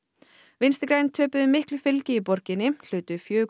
vinstri græn töpuðu miklu fylgi í borginni hlutu fjögur